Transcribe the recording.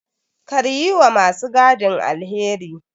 Kar yi wa ma su gadin alheri.